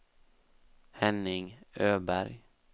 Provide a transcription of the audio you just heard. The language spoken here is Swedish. Henning Öberg